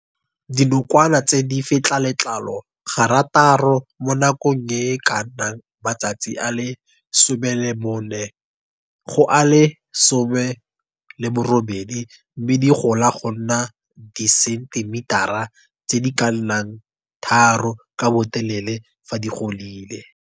Dibokowana tse di fetla letlalo garataro mo nakong e e ka nnang matsatsi a le 14 go a le 18 mme di gola go nna disentimetara tse di ka nnang 3 ka botelele fa di godile.